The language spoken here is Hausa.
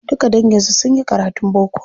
Duka dangin su sunyi karatun boko.